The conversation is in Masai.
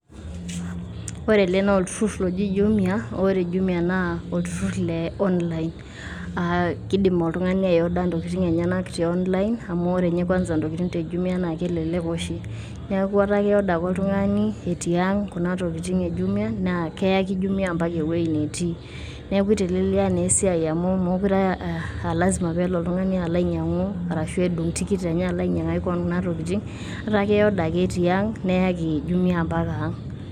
Ore ele naa olturrur oji Jumia, ore Jumia naa olturrur le online. Aah keidim oltung`ani ia order ntokitin enyenak te online amu ore ninye kwanza ntokitin te Jumia naa kelelek oshi. Niaku etaa ki order ake oltung`ani etii ang kuna tokitin e Jumia naa keaki Jumia o mpaka ewueji netii. Niaku eitelelia naa esiai amu meekure aa lazima pee elo oltung`ani alo ianyiang`u arashu edung tikit enye alo ainyiang`aki kewon kuna tokitin, eta ki order ake tiang neaki Jumia ompaka ang.